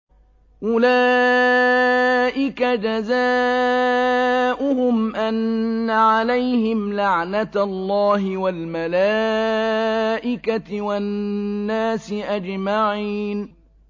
أُولَٰئِكَ جَزَاؤُهُمْ أَنَّ عَلَيْهِمْ لَعْنَةَ اللَّهِ وَالْمَلَائِكَةِ وَالنَّاسِ أَجْمَعِينَ